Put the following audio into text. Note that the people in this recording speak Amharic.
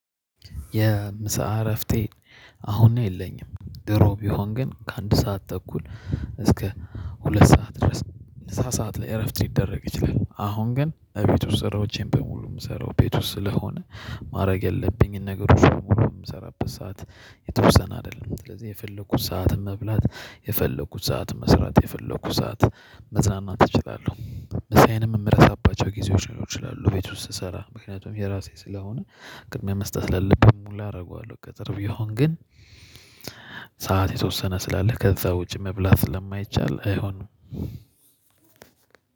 የምሳ እረፍቴ አሁን የለኝም ደሮ ቢሆን ግን ከአንድ ሰዓት ተኩል እስከ ሁለት ሰዓት ድረስ ምሳ ሰዓት ላይ እረፍት ሊደረግ ይችላል። አሁን ግን ቤቱ ውስጥ ስራዎቼን በሙሉ የምሰራው ቤት ስለሆነ ማድረግ ያለብኝ ነገሮች በሙሉም ምሰራበት ሰዓት የተወሰነ አይደለም። ስለዚህ የፈለግሁ ሰዓት መብላት የፈለግሁ ሰዓት መስራት የፈለግሁ ሰዓት መዝናናት እችላለሁ። ምሳዬንም ምረሳባቸው ጊዜዎች አሉ ቤት ውስጥ ስሰራ ምክንያቱም የራሴ ስለሆነ ቅድሚያ መስጠት ላለብኝ ሙሉ አደርገዋለሁ። ቅጥር ቢሆን ግን ሰዓት የተወሰነ ስላለ ከዚያ ውጪ መብላት ስለማይቻል አይሆንም።